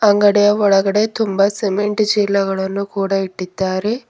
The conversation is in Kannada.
ಅಂಗಡಿಯ ಒಳಗಡೆ ತುಂಬ ಸಿಮೆಂಟ್ ಚೀಲಗಳನ್ನು ಕೂಡ ಇಟ್ಟಿದ್ದಾರೆ.